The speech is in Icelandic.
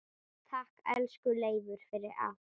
Takk, elsku Leifur, fyrir allt.